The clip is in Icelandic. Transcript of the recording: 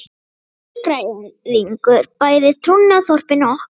Þú ert nýgræðingur bæði í trúnni og þorpinu okkar.